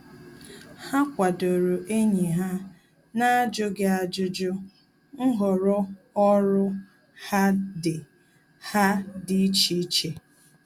Há kwàdòrò ényì ha n’ájụ́ghị́ ájụ́jụ́ nhọrọ ọ́rụ́ ha dị́ ha dị́ iche iche.